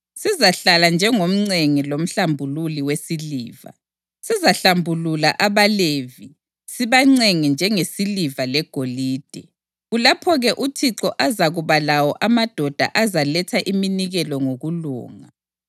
Sizahlala njengomcengi lomhlambululi wesiliva; sizahlambulula abaLevi sibacenge njengesiliva legolide. Kulapho-ke uThixo azakuba lawo amadoda azaletha iminikelo ngokulunga,